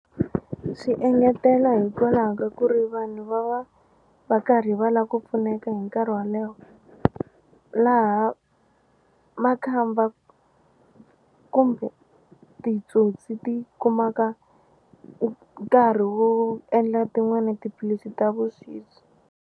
Swi engetela hikwalaho ka ku ri vanhu va va va karhi va la ku pfuneka hi nkarhi wa le wo laha makhamba kumbe titsotsi ti kumaka nkarhi wo endla tin'wani tiphilisi ta vuxisi.